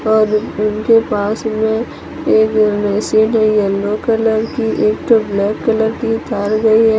उनके पास में एक है येलो कलर की एक ठों ब्लैक कलर की चाल रही है।